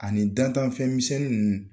Ani dantanfɛn misɛnnin nunnu.